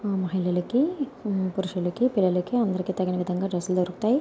ఆ మహిళలకి పురుషులకి పిల్లలకి అందరికి తగిన విదంగా డ్రెస్ లు దొరుకుతాయి.